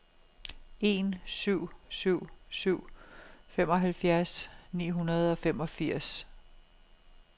en syv syv syv femoghalvfems ni hundrede og femogfirs